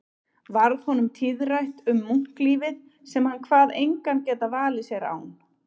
Varð honum tíðrætt um munklífið sem hann kvað engan geta valið sér án